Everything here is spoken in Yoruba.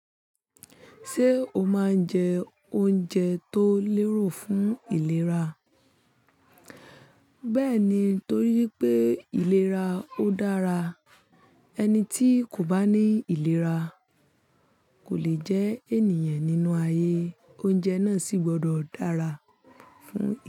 Ṣé o máa ń jẹ oúnjẹ tó lérò fún ìlera? Bẹ́ẹ̀ni, torí pé ìlera ó dára. Ẹni tí kò bá ní ìlera kò lè jẹ́ ènìyàn nínú ayé, oúnjẹ náà sì gbọdọ̀ dára fún ìlera.